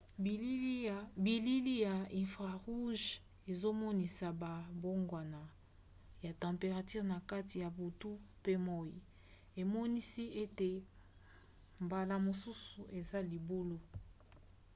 bilili ya infrarouges ezomonisa bambongwana ya temperature na kati ya butu pe moi emonisi ete mbala mosusu eza libulu